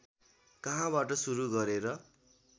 कहाँबाट सुरु गरेर